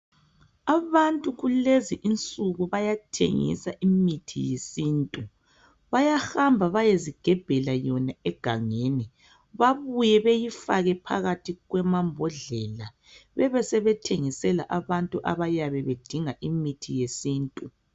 Abantu kulezi insuku bayathengisa imithi yesintu. Bayahamba bayozigebhela yona egangeni bebuye beyafake phakathi kwamambodlela besebethengisela abantu abayabe bedinga imithi yesintu.